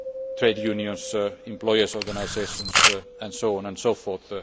trade unions, employers' organisations and so on and so forth.